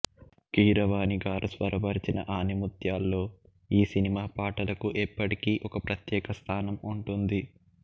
కీరవాణి గారు స్వరపరిచిన ఆణిముత్యాల్లో ఈ సినిమా పాటలకు ఎప్పటికీ ఒక ప్రత్యేక స్థానం ఉంటుంది